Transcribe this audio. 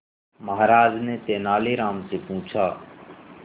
महाराज ने तेनालीराम से पूछा